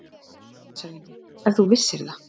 LANDSHÖFÐINGI: Ef þú vissir það.